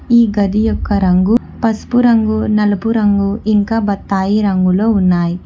ఈ గది యొక్క రంగు పసుపు రంగు నలుపు రంగు ఇంకా బత్తాయి రంగులో ఉన్నాయి.